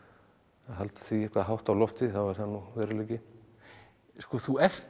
halda því eitthvað hátt á lofti þá er það nú veruleiki sko þú ert